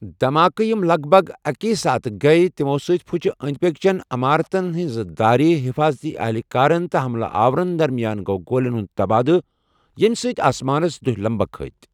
دھمآکہِ یِم لَگ بَگ اَکی ساتہٕ گٔیہ تِمو٘ سۭتۍ پُھچہِ اندِ پكہِ چین عمارتَن ہٕنٛزٕ دارِ، حفاضتی اہلکارَن تہٕ حملہ آورَن درمیان گوٚوگولین ہُنٛد تبادلہٕ، ییٚمہِ سۭتۍ آسمانَس دہہِ لمبكھ كھٕتہِ ۔